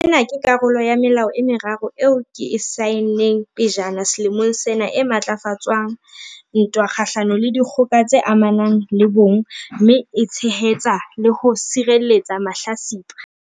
Ena ke karolo ya melao e meraro eo ke e saenneng pejana selemong sena e matlafatsang ntwa kgahlano le dikgoka tse amanang le bong mme e tshehetsa le ho sireletsa mahlatsipa.